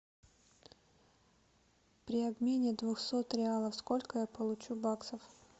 при обмене двухсот реалов сколько я получу баксов